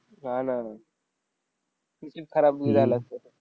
ना. खराब निघालं असतं.